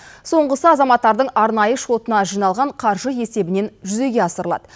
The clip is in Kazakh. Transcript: соңғысы азаматтардың арнайы шотына жиналған қаржы есебінен жүзеге асырылады